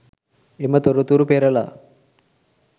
එම තොරතුරු පෙරළා